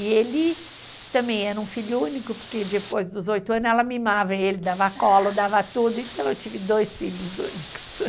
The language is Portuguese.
E ele também era um filho único, porque depois dos oito anos ela mimava ele, dava colo, dava tudo, então eu tive dois filhos únicos.